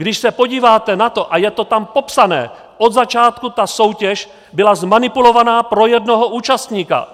Když se podíváte na to, a je to tam popsané - od začátku ta soutěž byla zmanipulovaná pro jednoho účastníka!